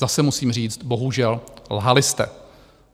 Zase musím říct, bohužel lhali jste.